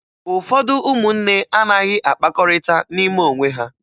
Ụfọdụ ụmụnne anaghị akpakọrịta n'ime onwe ha